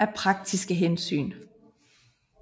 af praktiske hensyn